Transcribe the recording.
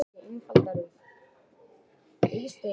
Gera verður greinarmun á fuglaflensu og heimsfaraldri inflúensu.